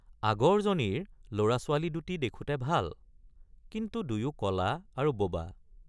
আগৰজনীৰ লৰাছোৱালী দুটি দেখোঁতে ভাল কিন্তু দুয়ো কলা আৰু বোবা।